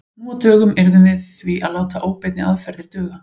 Nú á dögum yrðum við því að láta óbeinni aðferðir duga.